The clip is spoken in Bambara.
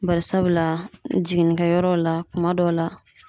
Barisabula jiginnikɛyɔrɔ la kuma dɔw la